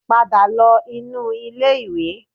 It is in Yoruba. Padà lọ inú ilé-ìwẹ̀